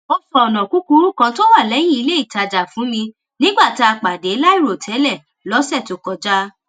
ó sọ ònà kúkúrú kan tó wà léyìn iléìtajà fún mi nígbà tá a pàdé láìròtélè lósè tó kọjá